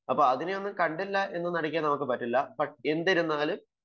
അപ്പൊ അതിനെയൊന്നും കണ്ടില്ല എന്നു നടിക്കാൻ പറ്റില്ല എന്നിരുന്നാലും